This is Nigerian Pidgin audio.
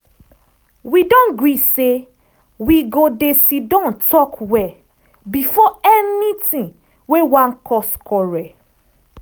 we don gree say we go dey siddan talk well about anything wey wan cause quarrel.